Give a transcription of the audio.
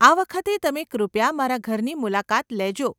આ વખતે તમે કૃપયા મારા ઘરની મુલાકાત લેજો.